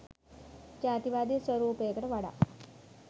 ජාතිවාදී ස්වරූපයකට වඩා